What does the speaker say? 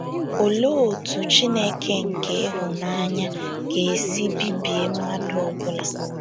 Olee otú Chineke nke ịhụnanya ga - esi bibie mmadụ ọ bụla?